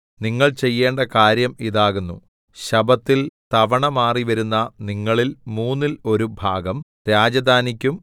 നിങ്ങൾ ചെയ്യേണ്ട കാര്യം ഇതാകുന്നു ശബ്ബത്തിൽ തവണമാറി വരുന്ന നിങ്ങളിൽ മൂന്നിൽ ഒരു ഭാഗം രാജധാനിക്കും